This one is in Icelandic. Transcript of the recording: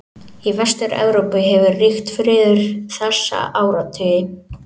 Í Vestur-Evrópu hefur ríkt friður þessa áratugi.